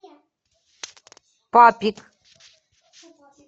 папик